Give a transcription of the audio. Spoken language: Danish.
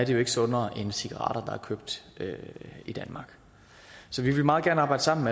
jo ikke sundere end cigaretter købt i danmark så vi vil meget gerne arbejde sammen